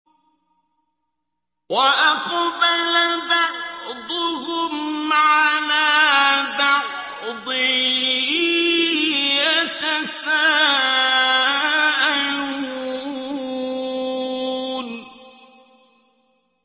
وَأَقْبَلَ بَعْضُهُمْ عَلَىٰ بَعْضٍ يَتَسَاءَلُونَ